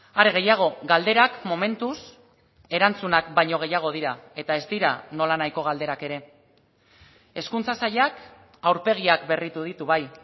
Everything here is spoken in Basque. are gehiago galderak momentuz erantzunak baino gehiago dira eta ez dira nolanahiko galderak ere hezkuntza sailak aurpegiak berritu ditu bai